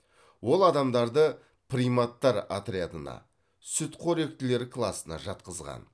ол адамдарды приматтар отрядына сүтқоректілер класына жатқызған